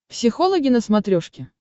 психологи на смотрешке